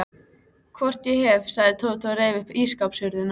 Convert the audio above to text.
Hvort ég hef, sagði Tóti og reif upp ísskápshurðina.